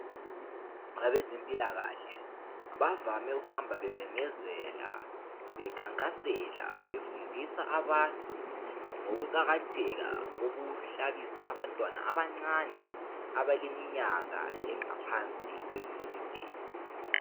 Abezempilakahle bavame ukuhamba bememezela bekhankasela befundisa abantu ngokuqakathetha kokuhlabisa abantwana abancane abaleminyaka engaphansi kwemine.